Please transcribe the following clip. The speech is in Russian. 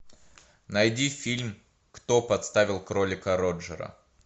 найди фильм кто подставил кролика роджера